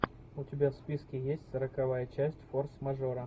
у тебя в списке есть сороковая часть форс мажора